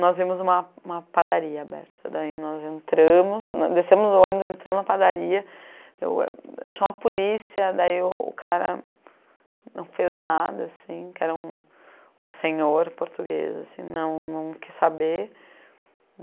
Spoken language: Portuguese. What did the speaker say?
Nós vimos uma uma padaria aberta, daí nós entramos, descemos do ônibus, entramos na padaria, eu chama a polícia, daí o cara não fez nada, assim, que era um um senhor português, assim, não quis saber.